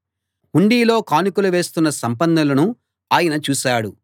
హుండీలో కానుకలు వేస్తున్న సంపన్నులను ఆయన చూశాడు